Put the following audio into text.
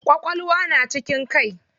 Ƙwaƙwalwa na cikin kai.